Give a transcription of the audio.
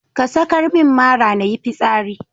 Ka sakar min mara nayi fitsari.